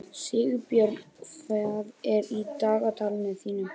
Sigbjörn, hvað er í dagatalinu í dag?